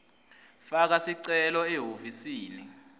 faka sicelo ehhovisi